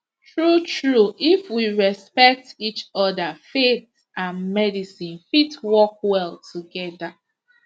true true if we respect each other faith and medicine fit work well together